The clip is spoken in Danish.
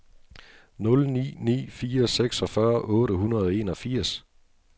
nul ni ni fire seksogfyrre otte hundrede og enogfirs